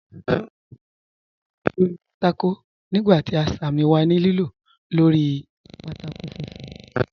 Chàlkù ti wà ní lìlò lórí pátákó nígbà tí àṣàmì wà ní lìlò lórí pátákó fùnfún.